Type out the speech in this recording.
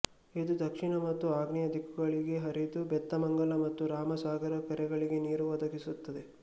ಇದು ದಕ್ಷಿಣ ಮತ್ತು ಆಗ್ನೇಯ ದಿಕ್ಕುಗಳಿಗೆ ಹರಿದು ಬೇತಮಂಗಲ ಮತ್ತು ರಾಮಸಾಗರ ಕೆರೆಗಳಿಗೆ ನೀರು ಒದಗಿಸುತ್ತದೆ